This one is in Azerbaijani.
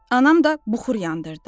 Anam da buxur yandırdı.